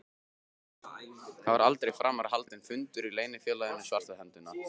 Það var aldrei framar haldinn fundur í Leynifélaginu svarta höndin.